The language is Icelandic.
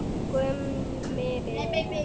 Gummi Ben.